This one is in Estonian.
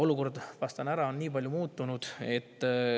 " Vastan ära, kui palju on olukord muutunud.